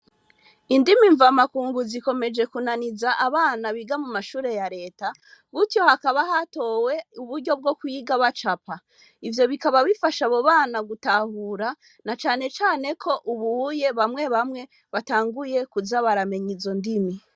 Indimi mvamakungu zikomeje kunaniza abana biga mu mashure ya reta gutyo hakaba hatowe uburyo bwo kwiga bacapa, ivyo bikaba bifasha abo bana gutahura na cane cane ko ubuye bamwe bamwe batanguye kuza baramenya izo ndimi.